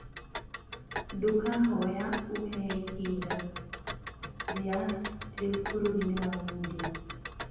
ndakũhoya uheĩhĩnda rĩa riu bururi ni wa india